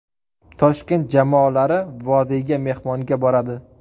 Toshkent jamoalari Vodiyga mehmonga boradi.